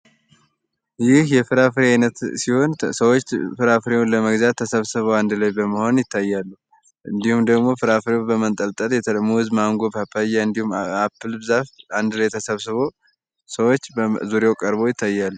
ይህ የፍራፍሬ አይነት ሲሆን ሰዎች ፍራፍሬውን ለመግዛት ተሰብስበው ይታያል እንዲሁም ፍሬው ተንጠልጥሎ አቮካዶ ብርቱካን ፓታያ እንዲሁም አፕል አንድ ላይ ተሰብስቦ ሰዎች በዙሪያው ቀርበው ይታያሉ።